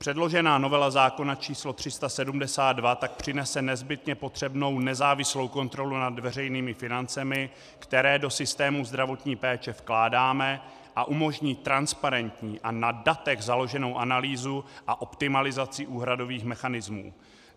Předložená novela zákona č. 372 tak přinese nezbytně potřebnou nezávislou kontrolu nad veřejnými financemi, které do systému zdravotní péče vkládáme, a umožní transparentní a na datech založenou analýzu a optimalizaci úhradových mechanismů.